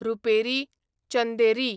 रुपेरी, चंदेरी